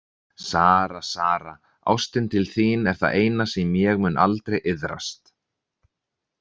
Sara, Sara, ástin til þín er það eina sem ég mun aldrei iðrast.